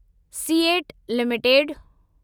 CEAT limited